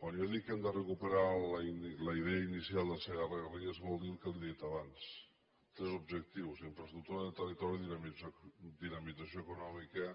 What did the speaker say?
quan jo dic que hem de recuperar la idea inicial del segarragarrigues vol dir el que li he dit abans tres objectius infraestructura de territori dinamització econòmica